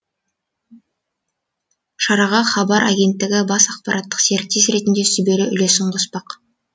шараға хабар агенттігі бас ақпараттық серіктес ретінде сүбелі үлесін қоспақ